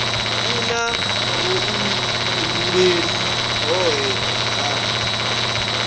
i na vhuifhinduleli hohe ha